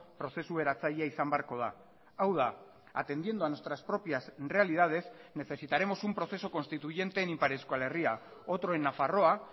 prozesu eratzailea izan beharko da hau da atendiendo a nuestras propias realidades necesitaremos un proceso constituyente en ipar euskal herria otro en nafarroa